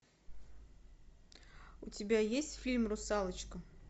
у тебя есть фильм русалочка